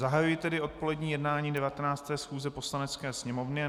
Zahajuji tedy odpolední jednání 19. schůze Poslanecké sněmovny.